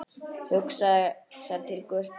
Hugsar til Gutta.